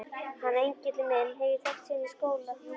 Hann Egil minn hef ég þekkt síðan í skóla.